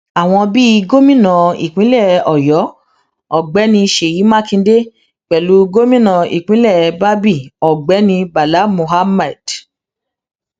àwọn bíi gómìnà ìpínlẹ ọyọ ọgbẹni sèyí mákindè pẹlú gómìnà ìpínlẹ babíi ọgbẹnibala mohammad